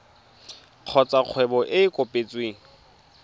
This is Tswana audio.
kgotsa kgwebo e e kopetsweng